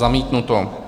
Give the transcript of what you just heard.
Zamítnuto.